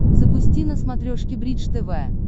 запусти на смотрешке бридж тв